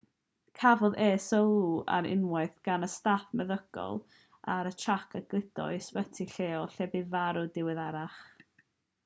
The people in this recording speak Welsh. cafodd e sylw ar unwaith gan y staff meddygol ar y trac a'i gludo i ysbyty lleol lle bu farw'n ddiweddarach